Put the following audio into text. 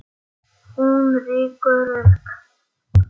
Hún rýkur upp.